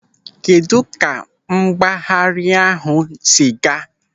Kedụ ka mgbagharị ahụ si aga?